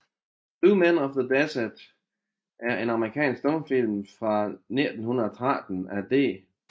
Two Men of the Desert er en amerikansk stumfilm fra 1913 af D